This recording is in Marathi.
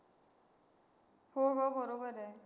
हो हो, बरोबर आहे.